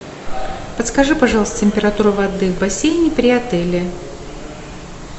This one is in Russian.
подскажи пожалуйста температуру воды в бассейне при отеле